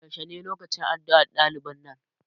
yaushe ne lokacin addu'ar ɗaliban nan?